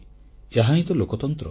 ଏହାହିଁ ତ ଲୋକତନ୍ତ୍ର